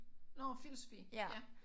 Nårh filosofi ja